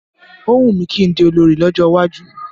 Ó wùmí kí n di olorì ní ọjọ́ iwájú